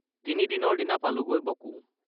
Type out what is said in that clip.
তিনিদিনৰ দিনা পালোঁগৈ বকো।